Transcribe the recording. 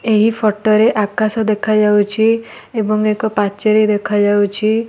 ଏହିଫଟ ରେଆକାଶ ଦେଖାଯାଉଛି। ଏବଂ ଏକ ପାଚେରୀ ଦେଖା ଯାଉଛି।